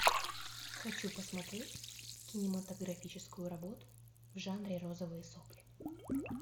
хочу посмотреть кинематографическую работу в жанре розовые сопли